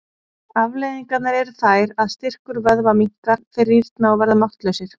Afleiðingarnar eru þær að styrkur vöðva minnkar, þeir rýrna og verða máttlausir.